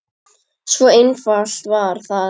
Svo einfalt var það.